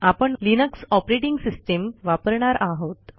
आपण Linux operating system वापरणार आहोत